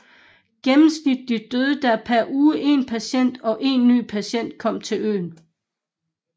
Gennemsnitlig døde der per uge en patient og en ny patient kom til øen